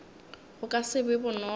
go ka se be bonolo